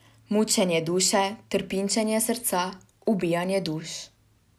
Mučenje duše, trpinčenje srca, ubijanje duš ...